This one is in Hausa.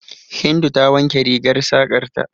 Hindu ta wanke rigar saƙar ta.